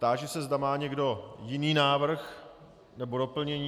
Táži se, zda má někdo jiný návrh nebo doplnění.